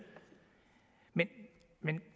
men